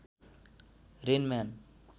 rain man